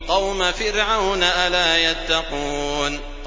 قَوْمَ فِرْعَوْنَ ۚ أَلَا يَتَّقُونَ